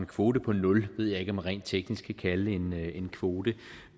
kvote på nul ved jeg ikke om man rent teknisk kan kalde en en kvote